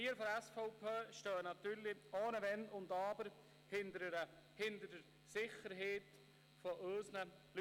Wir von der SVP stehen natürlich ohne Wenn und Aber hinter der Sicherheit unserer Leute.